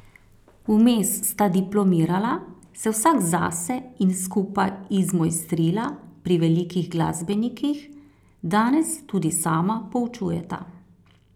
Vmes sta diplomirala, se vsak zase in skupaj izmojstrila pri velikih glasbenikih, danes tudi sama poučujeta.